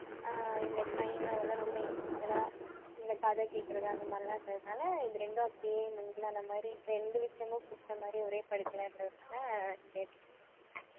அஹ் இந்த crime அதெல்லாம் ரொம்ப interested ஆ இந்த கதை கேக்குறது அந்த மாதிரிலாம் இருந்ததுனால இது ரெண்டும் அப்படியே mingle ஆன மாதிரி ரெண்டு விஷயமும் புடிச்ச மாதிரி ஒரே படிப்புல இருந்ததனால இது எடுத்தேன்